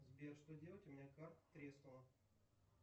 сбер что делать у меня карта треснула